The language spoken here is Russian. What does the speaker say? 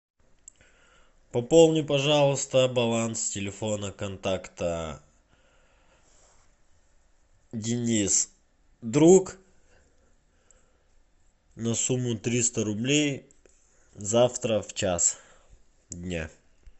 пополни пожалуйста баланс телефона контакта денис друг на сумму триста рублей завтра в час дня